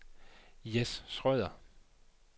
Jess Schrøder